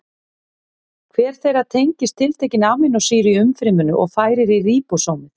Hver þeirra tengist tiltekinni amínósýru í umfryminu og færir í ríbósómið.